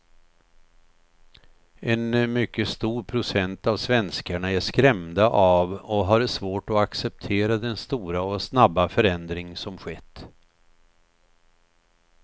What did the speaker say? En mycket stor procent av svenskarna är skrämda av och har svårt att acceptera den stora och snabba förändring som skett.